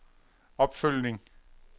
opfølgning